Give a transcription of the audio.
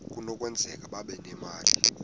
kunokwenzeka babe nemali